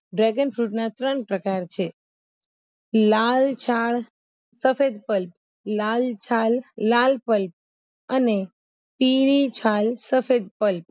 Dragon Fruit ના ત્રણ પ્રકાર છે લાલ છાલ સફેદ ફળ લાલ છાલ લાલ ફળ અને પીળી છાલ સફેદ ફળ